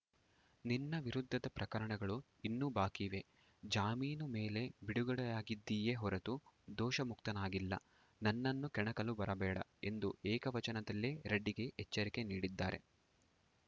ನಿನ್ನ ವಿರುದ್ಧದ ಪ್ರಕರಣಗಳು ಇನ್ನೂ ಬಾಕಿ ಇವೆ ಜಾಮೀನು ಮೇಲೆ ಬಿಡುಗಡೆಯಾಗಿದ್ದೀಯೇ ಹೊರತು ದೋಷಮುಕ್ತನಾಗಿಲ್ಲ ನನ್ನನ್ನು ಕೆಣಕಲು ಬರಬೇಡ ಎಂದು ಏಕವಚನದಲ್ಲೇ ರೆಡ್ಡಿಗೆ ಎಚ್ಚರಿಕೆ ನೀಡಿದ್ದಾರೆ